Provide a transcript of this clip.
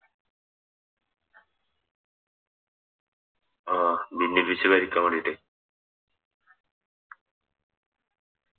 ആഹ് ഭിന്നിപ്പിച്ച് ഭരിക്കാൻ വേണ്ടിട്ട്